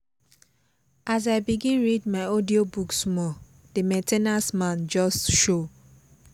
as i begin read my audiobook small the main ten ance man just show